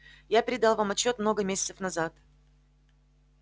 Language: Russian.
я передал вам отчёт много месяцев назад